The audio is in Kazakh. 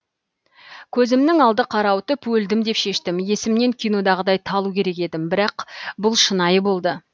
көзімнің алды қарауытып өлдім деп шештім есімнен кинодағыдай талу керек едім бірақ бұл шынайы болды